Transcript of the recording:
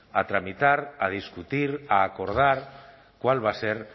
a tramitar a discutir a acordar cuál va a ser